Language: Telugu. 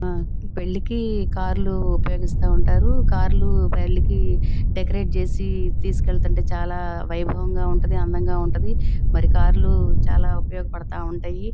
ఆ పెళ్ళికి కార్లు ఉపయోగిస్తా ఉంటారు. కార్లు పెళ్లికి డెకరేట్ చేసి తీసుకెలతాంటె చాలా వైభవంగా ఉంటది. అందంగా ఉంటది. మరి కార్లు చాలా ఉపయోగపడతా ఉంటయి.